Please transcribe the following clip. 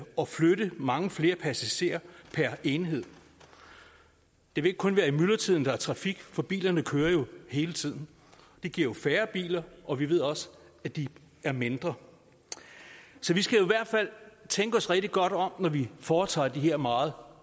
og flytte mange flere passagerer per enhed det vil ikke kun være i myldretiden der er trafik for bilerne kører jo hele tiden det giver jo færre biler og vi ved også at de er mindre så vi skal i hvert fald tænke os rigtig godt om når vi foretager de her meget